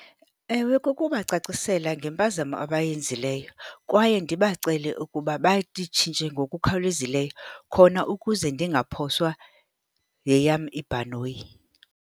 Ewe, kukubacacisela ngempazamo abayenzileyo kwaye ndibacele ukuba bayitshintshe ngokukhawulezileyo khona ukuze ndingaphoswa yeyam ibhanoyi.